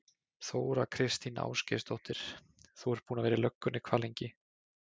Þóra Kristín Ásgeirsdóttir: Þú ert búinn að vera í löggunni hvað lengi?